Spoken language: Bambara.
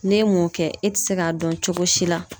N'e m'o kɛ e te se ka dɔn cogo si la